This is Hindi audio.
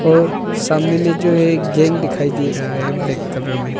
और सामने में जो एक दिखाई दे रहा है ब्लैक कलर में।